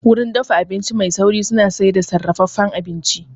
Wurin dafa abinci mai sauri suna sayar da sarrafafen abinci